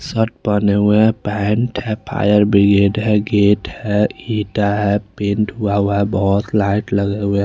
sir पहने हुए है पैंट है फायर ब्रिगेड है गेट है ईंटा है पेंट हुआ हुआ है बहुत लाइट लगे हुए --